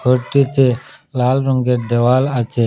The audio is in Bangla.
ঘরটিতে লাল রঙ্গের দেওয়াল আচে।